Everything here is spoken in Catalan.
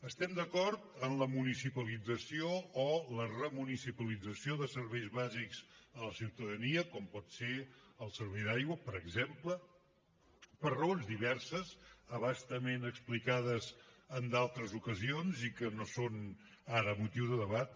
estem d’acord en la municipalització o la remunicipalització de serveis bàsics a la ciutadania com pot ser el servei d’aigua per exemple per raons diverses a bastament explicades en d’altres ocasions i que no són ara motiu de debat